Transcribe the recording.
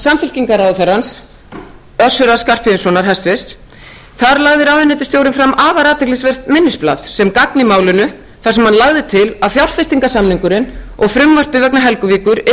til umræðu var frumvarp samfylkingarráðherrans össurar skarphéðinssonar hæstvirtur þar lagði ráðuneytisstjórinn fram afar athyglisvert minnisblað sem gagn í málinu þar sem hann lagði til að fjárfestingarsamningurinn og frumvarpið vegna helguvíkur yrði